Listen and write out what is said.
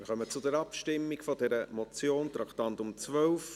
Wir kommen zur Abstimmung über diese Motion, Traktandum 12.